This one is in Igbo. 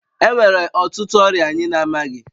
Enwere ọtụtụ ọrịa anyị na-amaghị